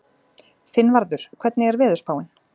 Finnvarður, hvernig er veðurspáin?